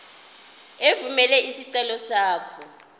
evumela isicelo sakho